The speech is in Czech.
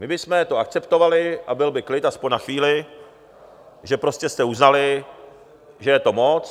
My bychom to akceptovali a byl by klid, aspoň na chvíli, že jste prostě uznali, že je to moc.